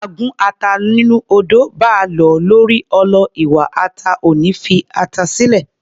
Báa gún ata nínú odó, báa lọ̀ ọ́ lórí ọlọ, iwa ata ò ní fi ata sílẹ̀